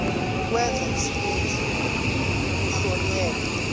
ukwenza isininzi kuhlonyelwa